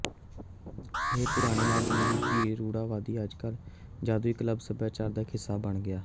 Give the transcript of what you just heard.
ਇਹ ਪੁਰਾਣੇ ਆਦਮੀ ਦੇ ਪੀਣ ਰੂੜੀਵਾਦੀ ਅੱਜਕੱਲ੍ਹ ਜਾਦੁਈ ਕਲੱਬ ਸਭਿਆਚਾਰ ਦਾ ਇੱਕ ਹਿੱਸਾ ਬਣ ਗਿਆ